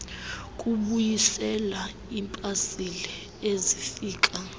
kubuyisela iipasile ezifika